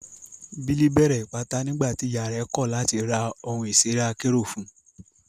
Billy bẹ̀rẹ̀ Ìpátá nígbà tí ìyà rẹ̀ kọ̀ láti ra ohun ìṣeré akérò fún un.